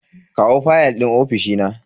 kawo fayal din ofishi na.